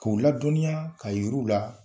K' u ladɔnya ka yir'u la